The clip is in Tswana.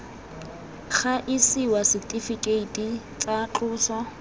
ga isiwa setifikeiti tsa tloso